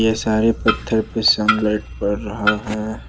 सारे पत्थर पे सन लाइट पड़ रहा है।